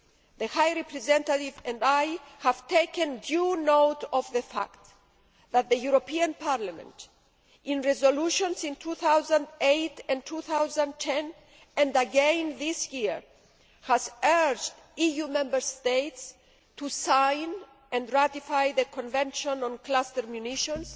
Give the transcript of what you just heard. The High Representative and I have taken due note of the fact that the European Parliament, in resolutions in 2008 and 2010 and again this year, has urged EU Member States to sign and ratify the Convention on Cluster Munitions,